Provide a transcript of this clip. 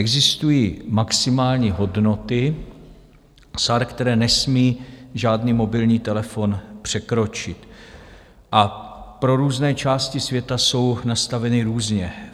Existují maximální hodnoty SAR, které nesmí žádný mobilní telefon překročit, a pro různé části světa jsou nastaveny různě.